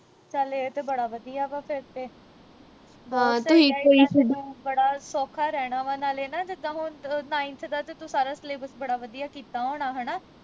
ਚੱਲ ਇਹ ਤੇ ਬੜਾ ਵਧੀਆ ਵਾ ਫਿਰ ਤੇ ਤੈਨੂੰ ਬੜਾ ਸੌਖਾ ਰਹਿਣਾ ਵਾ ਨਾਲੇ ਨਾ ਜਿੱਦਾ ਹੁਣ ninth ਦਾ ਤੂੰ ਸਾਰਾ syllabus ਬੜਾ ਵਧੀਆ ਕੀਤਾ ਹੋਣਾ